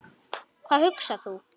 Hvað hugsar þú?